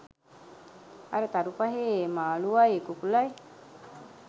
අර තරු පහේ මාලුවයි කුකුළයි